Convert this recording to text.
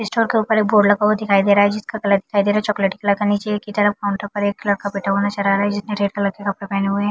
Store के ऊपर एक बोर्ड लगा हुआ दिखाई दे रहा जिसका कलर दिखाई दे रहा चॉकलेटी कलर का। नीचे की तरफ काउंटर पर एक लड़का बैठा हुआ नज़र आ रहा जिसने रेड कलर की कपड़े पेहने हुए है।